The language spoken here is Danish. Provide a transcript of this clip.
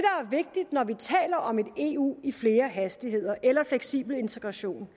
vigtigt når vi taler om et eu i flere hastigheder eller fleksibel integration